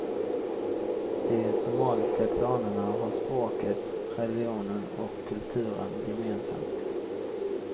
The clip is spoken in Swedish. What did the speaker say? De somaliska klanerna har språket, religionen och kulturen gemensamt.